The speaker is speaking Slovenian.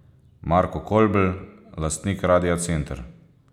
Marko Kolbl, lastnik Radia Center.